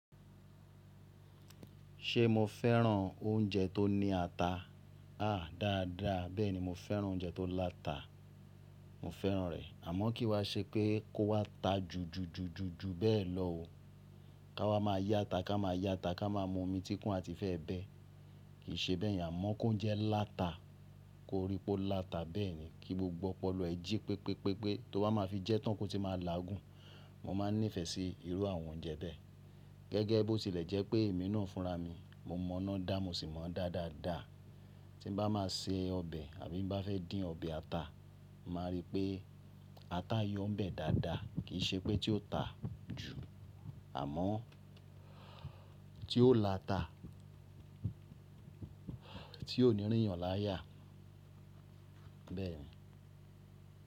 Ṣe mo fẹ́ràn oúnjẹ tó ní ata? Dáadáa, bẹ́ẹ̀ni mo fẹ́ràn oúnjẹ tó láta. Mo fẹ́ràn rẹ̀ àmọ́ kì í wa ṣe pé kó wá ta ju ju ju ju bẹ́ẹ̀ lọ o. Ká wá máa yá ata, ká máa yá ata, ká máa mú omi tí kún àti fé ẹ bẹ. Kì í ṣe bẹ́ẹ̀ yàn a mo kó ń jẹ láta, kó rí pé ó láta bẹ́ẹ̀ ni. Kí gbogbo ọpọlọ ẹ jí pé pé pé pé tó bá máa fi jẹ tán kó ti máa làá gùn. Mo máa nífẹ̀ẹ́ sí irú àwọn oúnjẹ bẹ́ẹ̀. Gẹ́gẹ́ bó tilẹ̀ jẹ́ pé èmi náà ń fúnra mi, mo mọ̀ ná dá mo sì mọ̀ dá dáadáa. Tí ń bá máa se ọbẹ̀ àbí bá fẹ́ dín ọbẹ̀ ata, màá rí pé ata yọ́n bẹ̀ dáadáa kì í ṣe pé tí ó ta jù àmọ́ tí ó láta tí ò ní rín yan láya bẹ́ẹ̀ ni.